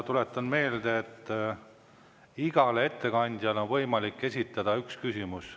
Tuletan meelde, et igale ettekandjale on võimalik esitada üks küsimus.